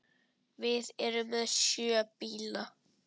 Við erum með sjö bíla.